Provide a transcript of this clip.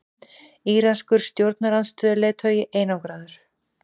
Íranskur stjórnarandstöðuleiðtogi einangraður